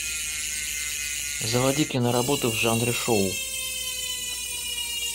заводи киноработу в жанре шоу